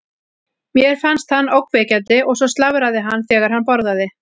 Mér fannst hann ógnvekjandi og svo slafraði hann þegar hann borðaði.